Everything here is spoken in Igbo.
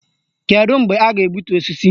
Kedụ mgbe a ga-egbutu osisi?